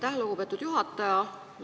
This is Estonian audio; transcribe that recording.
Aitäh, lugupeetud juhataja!